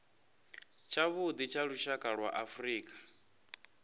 tshavhuḓi tsha lushaka lwa afrika